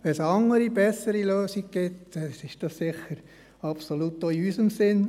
Wenn es eine andere, bessere Lösung gibt, ist das absolut auch in unserem Sinn.